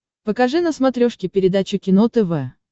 покажи на смотрешке передачу кино тв